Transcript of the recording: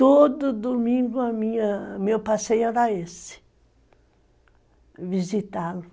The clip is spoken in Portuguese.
Todo domingo o meu passeio era esse, visitá-lo.